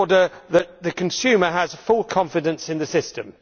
so that the consumer has full confidence in the system.